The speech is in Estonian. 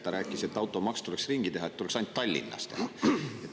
Ta rääkis, et automaks tuleks ringi teha, et see oleks ainult Tallinnas.